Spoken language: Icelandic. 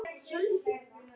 Við því er að búast.